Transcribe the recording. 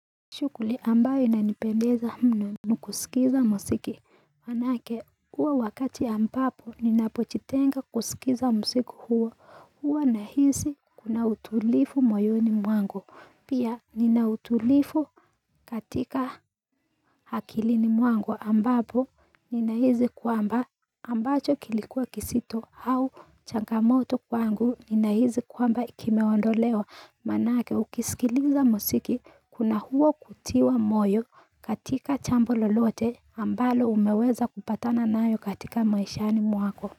Shughuli ambayo inanipendeza mno ni kuskiza muziki, manake huo wakati ambapo ninapojitenga kuskiza muziki huo huwa nahisi kuna utulivu moyoni mwangu, pia nina utulivu katika hakilini mwangu ambapo ninahisi kwamba ambacho kilikuwa kizito au changamoto kwangu ninahisi kwamba kiimeondolewa, manake ukiskiliza muziki kuna huo kutiwa. Moyo katika jambo lolote ambalo umeweza kupatana nayo katika maishani mwako.